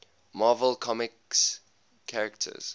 marvel comics characters